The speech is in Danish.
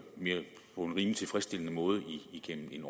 rimelig tilfredsstillende måde igennem en